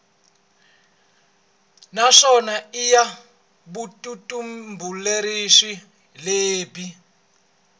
naswona i ya vutitumbuluxeri lebyi